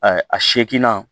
a segi nan